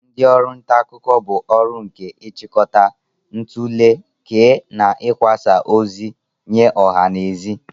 Ndị ọrụ nta akụkọ bụ orụ nke ị chịkọta, ntule, kee, na ikwasa ozi nye ọha na eze.